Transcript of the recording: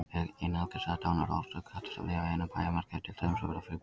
Ein algengasta dánarorsök katta sem lifa innan bæjarmarka er til dæmis að verða fyrir bíl.